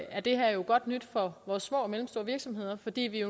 at det her jo er godt nyt for vores små og mellemstore virksomheder fordi vi